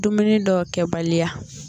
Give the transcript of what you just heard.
Dumuni dɔw kɛbaliya